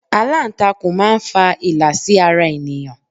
Alantakun máa ń fa ìlà sí ara ènìyàn.